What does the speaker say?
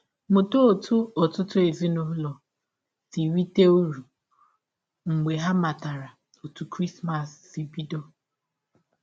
Mụta ọtụ ọtụtụ ezinụlọ si rite ụrụ mgbe ha matara ọtụ Krismas si bidọ.